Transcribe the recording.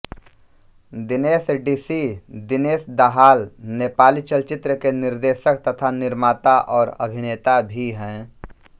Dinesh DC Dinesh Dahal Nepali चलचित्रके निर्देशक तथा निर्माता और अभिनेता भि है